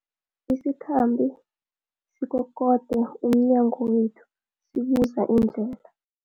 Isikhambi sikokode emnyango wethu sibuza indlela.